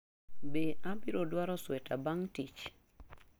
Be abiro dwaro sweta bang’ tich?